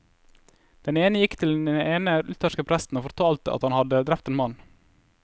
Den ene gikk til den lutherske presten og fortalte at han hadde drept en mann.